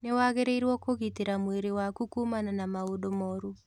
Nĩ wagĩrĩirũo kũgitĩra mwĩrĩ waku kuumana na maũndũ moru.